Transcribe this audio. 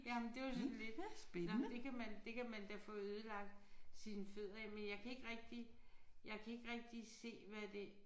Jamen det er jo sådan lidt nåh det kan man det kan man da få ødelagt sine fødder af men jeg kan ikke rigtig jeg kan ikke rigtig se hvad det